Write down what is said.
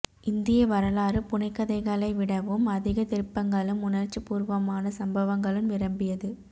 இந்திய வரலாறு புனைகதைகளை விடவும் அதிகத் திருப்பங்களும் உணர்ச்சிபூர்வமான சம்பவங்களும் நிரம்பியது